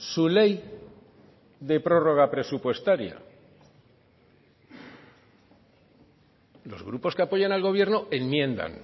su ley de prórroga presupuestaria los grupos que apoyan al gobierno enmiendan